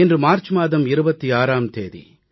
இன்று மார்ச் மாதம் 26ஆம் தேதி